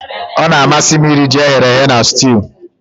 Ọ na-amasị m iri ji eghere eghe na sutiu